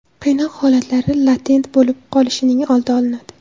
Qiynoq holatlari latent bo‘lib qolishining oldi olinadi.